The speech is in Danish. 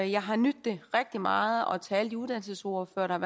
jeg har nydt det rigtig meget og til alle de uddannelsesordførere der